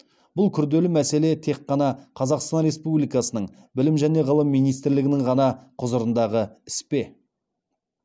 бұл күрделі мәселе тек қана қазақстан республикасының білім және ғылым министрлігінің ғана құзырындағы іс пе